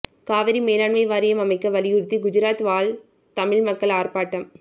காவிரி மேலாண்மை வாரியம் அமைக்க வலியுறுத்தி குஜராத் வாழ் தமிழ் மக்கள் ஆர்ப்பாட்டம்